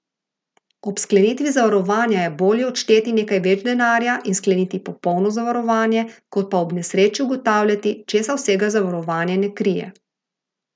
Ob sklenitvi zavarovanja je bolje odšteti nekaj več denarja in skleniti popolno zavarovanje, kot pa ob nesreči ugotavljati, česa vsega zavarovanje ne krije.